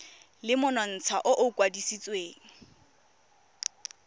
le monontsha o o kwadisitsweng